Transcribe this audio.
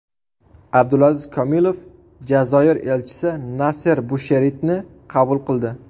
Abdulaziz Komilov Jazoir elchisi Naser Busheritni qabul qildi.